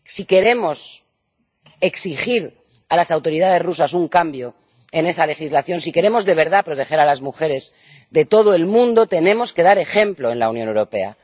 Si queremos exigir a las autoridades rusas un cambio en esa legislación, si queremos de verdad proteger a las mujeres de todo el mundo, tenemos que dar ejemplo en la Unión Europea.